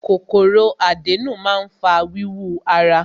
Kòkòrò àdénù máa ń fa wíwú ara.